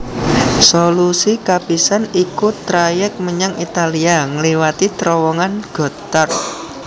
Solusi kapisan iku trayèk menyang Italia ngliwati Trowongan Gotthard